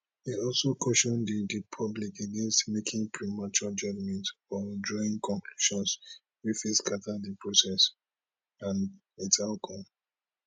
e also caution di di public against making premature judgments or drawing conclusions wey fit scata di process and its outcome